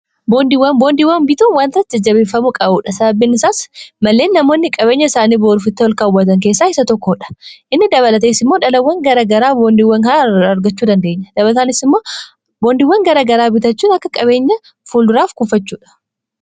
boondiiwwan bitoon waanirai jajjabeeffamuu qa'uudha sababbin isaas malleen namoonni qabeenya isaanii boorufitti ol kaawwatan keessaa isa tokkoodha inni dabalateessiimmoo dhalawwan garagaraa boondiiwwan haa argachuu dandeenya dabaltanboondiiwwan garagaraa bitachuun akka qabeenya fuul duraaf kufachuudha